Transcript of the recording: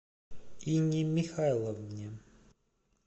инне михайловне